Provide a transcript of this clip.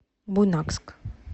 буйнакск